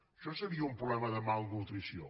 això seria un problema de malnutrició